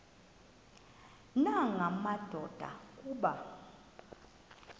nanga madoda kuba